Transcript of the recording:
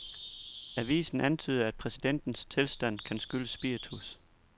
Avisen antyder, at præsidentens tilstand kan skyldes spiritus.